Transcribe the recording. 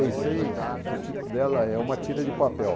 setenta e seis, o título dela é Uma Tira de Papel.